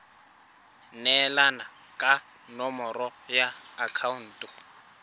neelana ka nomoro ya akhaonto